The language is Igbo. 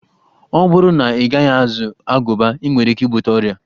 Ọ bụrụ na Ị gaghị azụ agụba, i nwere ike ibute ọria